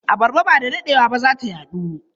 Abarba ba da daɗewa ba za ta yaɗu.